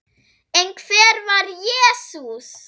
En hver var Jesús?